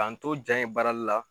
K'an to jaa in baarali la